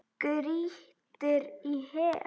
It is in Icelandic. Grýttir í hel.